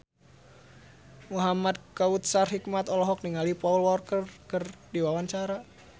Muhamad Kautsar Hikmat olohok ningali Paul Walker keur diwawancara